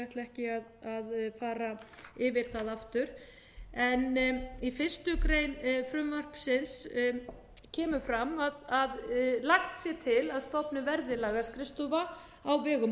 ekki að fara yfir það aftur í fyrstu grein frumvarpsins kemur fram að frumvarpið náði ekki fram að lagt sé til að stofnuð verði lagaskrifstofa á vegum